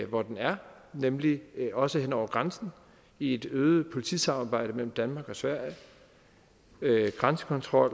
hvor den er nemlig også hen over grænsen i et øget politisamarbejde mellem danmark og sverige grænsekontrol